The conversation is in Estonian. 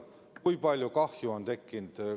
Kui palju kahju on tekkinud?